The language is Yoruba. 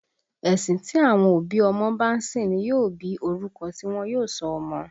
Ẹ̀sìn tí àwọn òbí ọmọ bá ń sìn ní yóò bí orúkọ tí wọ́n yóò sọ ọmọ